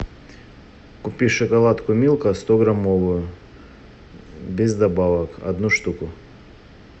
купи шоколадку милка стограммовую без добавок одну штуку